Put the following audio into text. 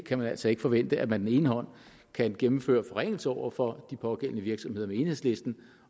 kan altså ikke forvente at man kan gennemføre forringelser over for de pågældende virksomheder med enhedslisten